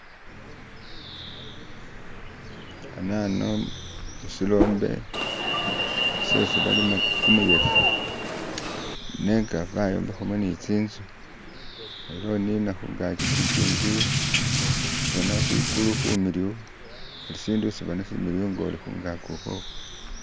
Anano sirombe syesibalima kumuyekhe nenga bayombekhamo ne tsinzu. Ano unina khungaki khulukingi, boona khwigulu khumiliyu, bulisindu isiboona similiyu ngoli khungaki ukhwokho.